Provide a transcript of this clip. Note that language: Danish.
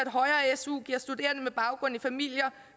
at højere su giver studerende med baggrund i familier